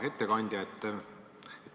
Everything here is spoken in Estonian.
Hea ettekandja!